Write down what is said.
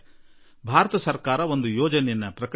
ಭಾರತ ಸರ್ಕಾರದಲ್ಲಿ ಒಂದು ವಿಚಾರ ಹುಟ್ಟಿಕೊಂಡಿದೆ